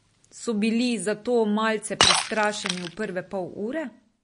So bili zato malce prestrašeni v prve pol ure?